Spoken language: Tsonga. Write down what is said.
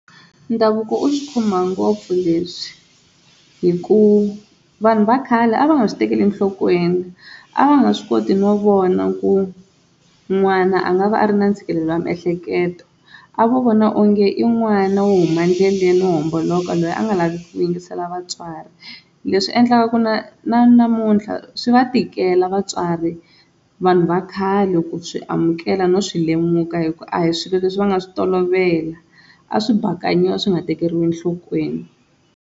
Ndhavuko wu swi khumba ngopfu leswi hi ku vanhu va khale a va nga swi tekeli enhlokweni a va nga swi koti no vona ku n'wana a nga va a ri na ntshikelelo wa miehleketo a vo vona onge i n'wana wo huma endleleni wo homboloka loyi a nga laviku yingisela vatswari, leswi endlaka ku na na namuntlha swi va tikela vatswari vanhu va khale ku swi amukela no swi lemuka hi ku a hi swilo leswi va nga swi tolovela a swi bakanyiwa swi nga tekeriwi enhlokweni.